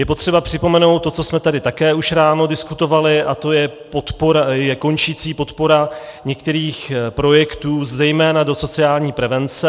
Je potřeba připomenout to, co jsme tady také už ráno diskutovali, a to je končící podpora některých projektů, zejména do sociální prevence.